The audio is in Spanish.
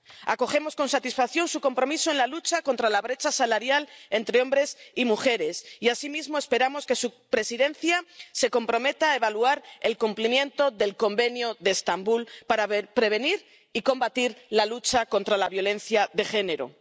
Acogemos con satisfacción su compromiso en la lucha contra la brecha salarial entre hombres y mujeres, y asimismo esperamos que su Presidencia se comprometa a evaluar el cumplimiento del Convenio de Estambul para prevenir y combatir la lucha contra la violencia de género.